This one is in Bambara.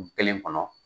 Kelen kɔnɔ